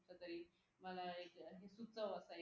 मला एक घ्या